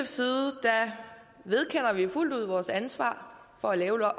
side vedkender vi os fuldt ud vores ansvar for at lave